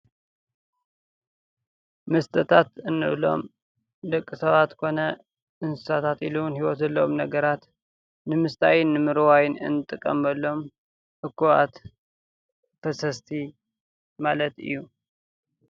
መስተታት እንብሎም ደቂ ሰባት ኮነ እንስሳታት ኢሉ ውን ሂዎት ዘለዎም ነገራት ንምስታይን ንምርዋይን እንጥቀመሎም ኡባኣት ፈሰስቲ ማለት እዩ፡፡